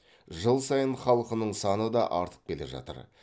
жыл сайын халқының саны да артып келе жатыр